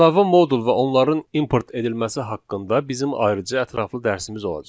Əlavə modul və onların import edilməsi haqqında bizim ayrıca ətraflı dərsimiz olacaq.